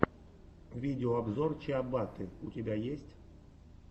видеообзор чиабатты у тебя есть